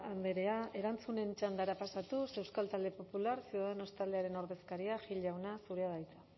andrea erantzunen txandara pasatuz euskal talde popular ciudadanos taldearen ordezkaria gil jauna zurea da hitza